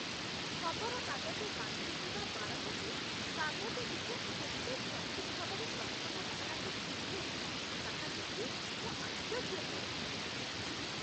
ଖବରକାଗଜ ବାଣ୍ଟୁଥିବା ବାଳକଟି କାଗଜଟିକୁ କେତେ ସଠିକ୍ ଭାବରେ ପ୍ରଥମ ମହଲାକୁ ଫିଙ୍ଗେ, ତାହା ଦେଖି ମୁଁ ଆଶ୍ଚର୍ଯ୍ୟ ହୁଏ।